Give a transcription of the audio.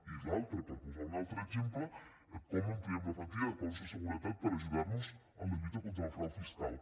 i l’altre per posar un altre exemple com ampliem la plantilla de cossos de seguretat per ajudar nos en la lluita contra el frau fiscal